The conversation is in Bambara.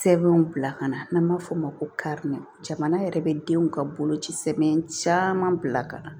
Sɛbɛnw bila ka na n'an b'a f'o ma ko kari jamana yɛrɛ bɛ denw ka boloci sɛbɛn caman bila ka na